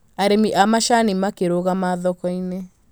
Arĩmi a macani makĩrũgama thoko-inĩ